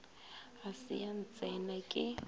ga se ya ntsena ke